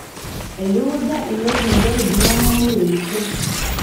Eitukuja ilo bungei ltung'ana meiremisho